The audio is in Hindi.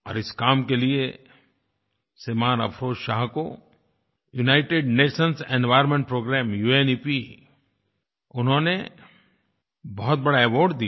और इस काम के लिए श्रीमान् अफरोज़ शाह को United Nations environment programme UNEP उन्होंने बहुत बड़ा अवार्ड दिया